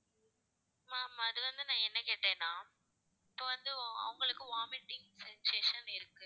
ma'am அது வந்து நான் என்ன கேட்டேன்னா இப்ப வந்து அவங்களுக்கு vomiting sensation இருக்கு